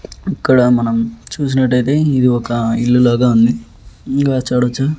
ఇక్కడ మనం చూసినటయితే ఇది ఒక ఇల్లు లాగా ఉంది ఇంకా చూడచ్చు.